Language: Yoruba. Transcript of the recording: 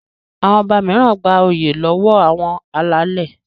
Àwọn ọba mìíràn gbà oyè lọwọ àwọn alálè.